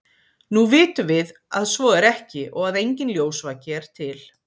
nú vitum við að svo er ekki og að enginn ljósvaki er til